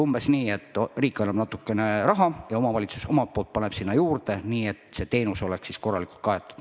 Umbes nii, et riik annab natuke raha ja omavalitsus paneb sinna juurde, nii et see teenus oleks korralikult kaetud.